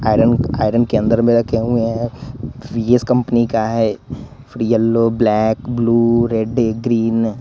iron iron के अंदर में रखे हुए है वी_एस कंपनी का है फिर yellow black blue red green --